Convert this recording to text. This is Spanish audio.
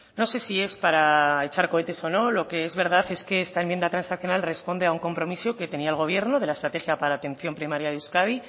no sé si es para echar cohetes o no lo que es verdad es que esta enmienda transaccional responde a un compromiso que tenía el gobierno de la estrategia para la atención primaria de euskadi